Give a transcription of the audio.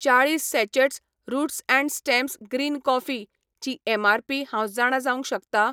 चाळीस sachets roots and stems green coffee ची MRP हांव जाणा जावंक शकता ?